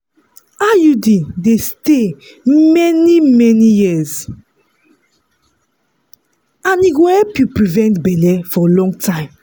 iud dey stay many-many years and e go help you prevent belle for long time.